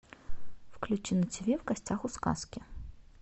включи на тв в гостях у сказки